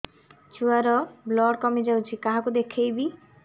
ଛୁଆ ର ବ୍ଲଡ଼ କମି ଯାଉଛି କାହାକୁ ଦେଖେଇବି